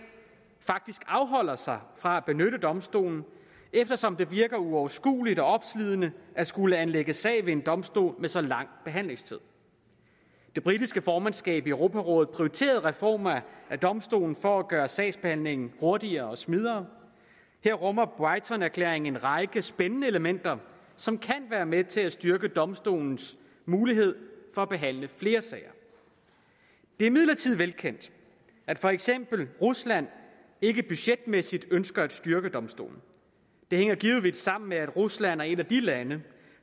faktisk afholder sig fra at benytte domstolen eftersom det virker uoverskueligt og opslidende at skulle anlægge sag ved en domstol med så lang behandlingstid det britiske formandskab i europarådet prioriterede reformer af domstolen for at gøre sagsbehandlingen hurtigere og smidigere og her rummer brightonerklæringen en række spændende elementer som kan være med til at styrke domstolens mulighed for at behandle flere sager det er imidlertid velkendt at for eksempel rusland ikke budgetmæssigt ønsker at styrke domstolen det hænger givetvis sammen med at rusland er et af de lande